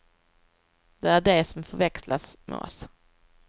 Det är de som förväxlas med oss.